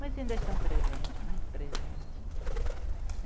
Mas ainda estão presentes, muito presentes.